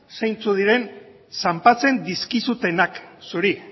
zeintzuk diren zanpatzen dizkizutenak zuri